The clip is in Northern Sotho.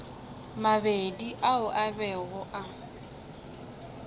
mabedi ao a bego a